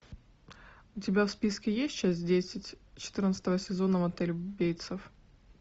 у тебя в списке есть часть десять четырнадцатого сезона мотель бейтсов